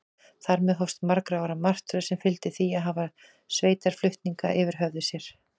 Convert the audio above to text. Þar með hófst margra ára martröð, sem fyldi því að hafa sveitarflutninga yfir höfði sér.